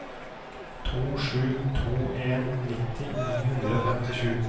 to sju to en nitti ni hundre og femtisju